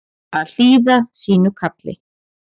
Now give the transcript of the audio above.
Að hlýða sínu kalli